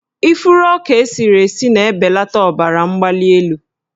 Ifuru ọka esiri esi na-ebelata ọbaramgbalịelu.